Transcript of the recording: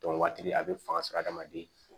waati a bɛ fanga sɔrɔ adamaden